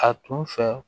A tun fɛ